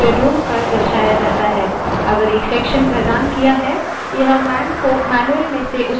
यदि एक section प्रदान किया है यह man को मैन्यूअल में से उसी section की ओर देखने के लिए कहेगा